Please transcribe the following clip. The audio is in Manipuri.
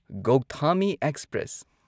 ꯒꯧꯊꯥꯃꯤ ꯑꯦꯛꯁꯄ꯭ꯔꯦꯁ